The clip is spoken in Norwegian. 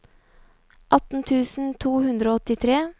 atten tusen to hundre og åttitre